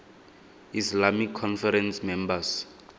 islamic conference members